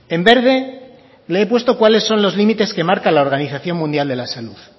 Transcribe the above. en verde le he puesto cuales son los límites que marca la organización mundial de la salud